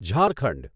Jharkhand